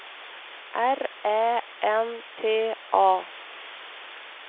R Ä N T A